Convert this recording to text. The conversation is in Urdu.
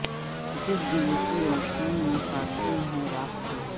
جس دیے کی روشنی میں کاٹتے ہیں رات ہم